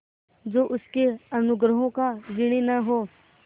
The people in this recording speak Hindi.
जो उसके अनुग्रहों का ऋणी न हो